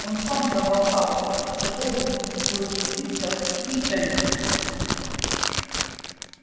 он сам проболтался что должен был учиться в итоне